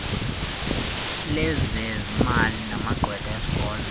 lezezimali namagqwetha esikolo